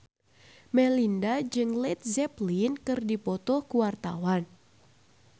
Melinda jeung Led Zeppelin keur dipoto ku wartawan